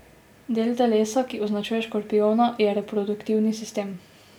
Del telesa, ki označuje škorpijona, je reproduktivni sistem.